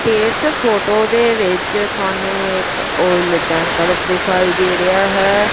ਇਸ ਫੋਟੋ ਦੇ ਵਿੱਚ ਸਾਨੂੰ ਇੱਕ ਔਇਲ ਟੈਂਕਰ ਦਿਖਾਈ ਦੇ ਰਿਹਾ ਹੈ।